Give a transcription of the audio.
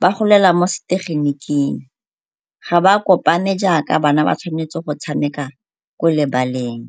ba golela mo setegeniking ga ba kopane jaaka bana ba tshwanetse go tshameka ko lebaleng.